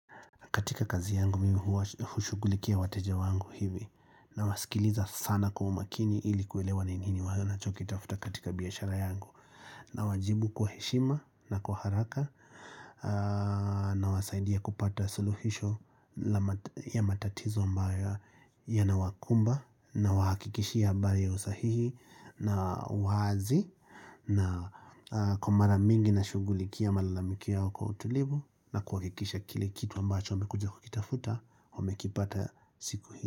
Katika kazi yangu mimi hushughulikia wateja wangu hivi, nawasikiliza sana kwa umakini ili kuelewa ni nini wanachokitafuta katika biashara yangu. Nawajibu kwa heshima na kwa haraka Na wasaidia kupata suluhisho ya matatizo ambayo yana wakumba Na wahakikishia mba ya usahihi na uhazi Na kumara mingi na shugulikia malalamikio yao kwa kwa utulivu Na kuhakikisha kile kitu ambacho amekuja kukitafuta Wamekipata siku hii.